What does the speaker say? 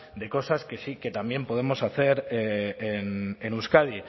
de cosas que sí que también podemos hacer en euskadi